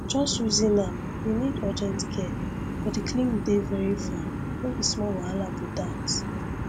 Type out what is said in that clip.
just reason am you need urgent care but the clinic dey very far no be small wahala be that